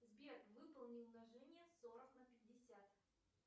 сбер выполни умножение сорок на пятьдесят